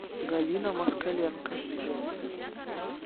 галина москаленко